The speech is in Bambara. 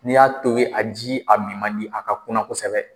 N'i y'a tobi a ji a min man di a ka kuna kosɛbɛ